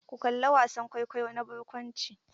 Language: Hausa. Ku kalla wasan kwaikwayo na barkwanci!